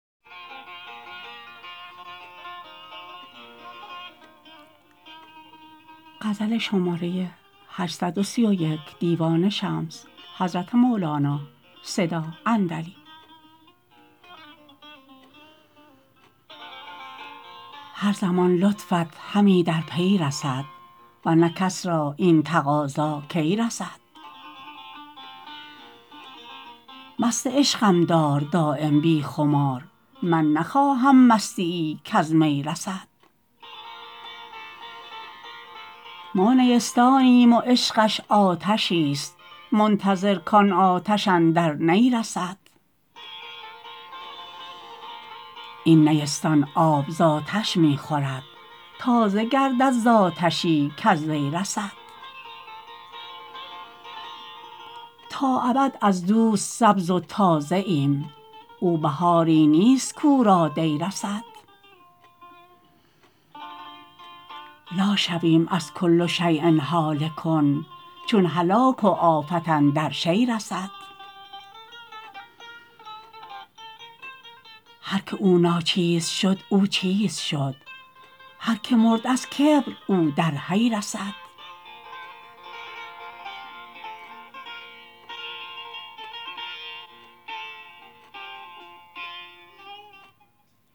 هر زمان لطفت همی در پی رسد ور نه کس را این تقاضا کی رسد مست عشقم دار دایم بی خمار من نخواهم مستیی کز می رسد ما نیستانیم و عشقش آتشیست منتظر کان آتش اندر نی رسد این نیستان آب ز آتش می خورد تازه گردد ز آتشی کز وی رسد تا ابد از دوست سبز و تازه ایم او بهاری نیست کو را دی رسد لا شویم از کل شیی هالک چون هلاک و آفت اندر شیء رسد هر کی او ناچیز شد او چیز شد هر کی مرد از کبر او در حی رسد